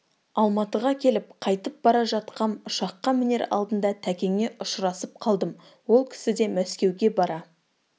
алматыға келіп қайтып бара жатқам ұшаққа мінер алдында тәкеңе ұшырасып қалдым ол кісі де мәскеуге бара